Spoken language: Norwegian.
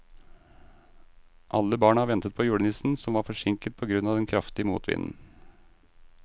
Alle barna ventet på julenissen, som var forsinket på grunn av den kraftige motvinden.